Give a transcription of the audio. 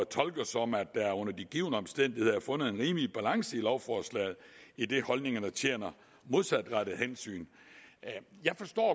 tolker som at der under de givne omstændigheder er fundet en rimelig balance i lovforslaget idet holdningerne tjener modsatrettede hensyn jeg forstår